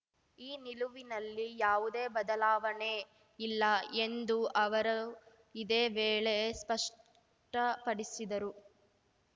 ಈ ನಿಲುವಿನಲ್ಲಿ ಯಾವುದೇ ಬದಲಾವಣೆ ಇಲ್ಲ ಎಂದು ಅವರು ಇದೇ ವೇಳೆ ಸ್ಪಷ್ಟಪಡಿಸಿದರು